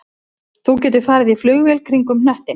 Þú getur farið í flugvél kringum hnöttinn